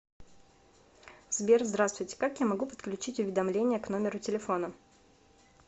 сбер здравствуйте как я могу подключить уведомления к номеру телефона